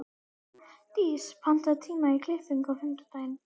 Dís, pantaðu tíma í klippingu á fimmtudaginn.